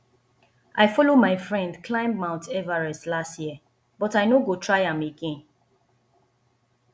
i follow my friend climb mount everest last year but i no go try am again